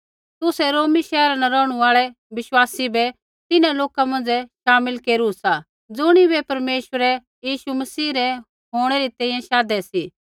तुसै रोमी शैहरा न रौहणु आल़ै विश्वासी बै तिन्हां लोका मौंझ़ै शामिल केरू सा ज़ुणिबै परमेश्वरै यीशु मसीह रै होंणै री तैंईंयैं शाधे सी